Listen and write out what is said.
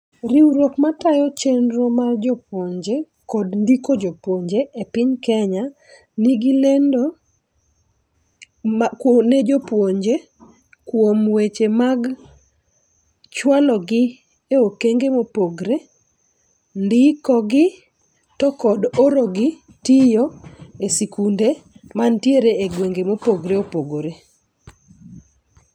Riwruok ma tayo chenro mar jopuonje kod ndiko jopuonje e piny Kenya nigi lendo ne jopuonje kuom weche mag chwalo gi e okenge mopogre. Ndiko gi to kod oro gi tiyo e sikunde mantiere e gwenge mopogore opogre.